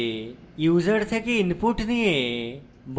method ব্যবহার করে